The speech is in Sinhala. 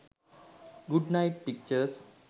good night pictures